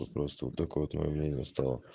просто вот так вот моё мнение стало